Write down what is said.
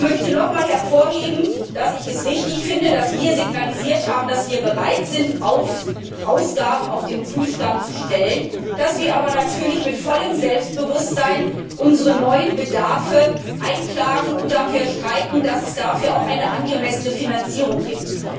Ich möchte nochmals hervorheben, dass ich es richtig finde, dass wir unsere Bereitschaft signalisiert haben, Ausgaben auf den Prüfstand zu stellen, dass wir aber natürlich mit vollem Selbstbewusstsein unsere neuen Bedarfe einklagen und dafür streiten, dass es dafür auch eine angemessene Finanzierung gibt.